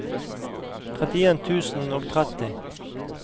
trettien tusen og tretti